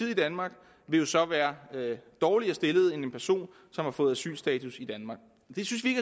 i danmark vil jo så være dårligere stillet end en person som har fået asylstatus i danmark det synes vi